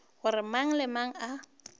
gore mang le mang a